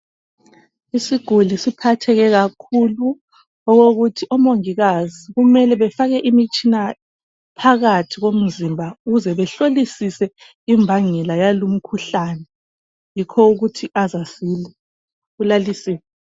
Isiguli siphatheke kakhulu okokuthi omongikazi kumele befake imitshina phakathi komzimba ukuze behlolisise imbangela yalumkhuhlane yikho ukuthi aze asile ulalisiwe.